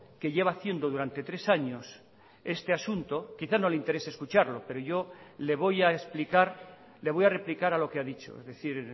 que lleva haciendo durante tres años este asunto quizá no le interese escucharlo pero yo le voy a explicar le voy a replicar a lo que ha dicho es decir